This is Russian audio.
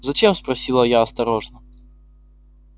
зачем спросила я осторожно